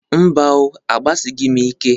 Mba o, agbasịghịm ike.